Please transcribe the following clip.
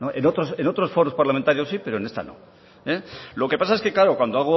en otros foros parlamentarios sí pero en esta no lo que pasa es que claro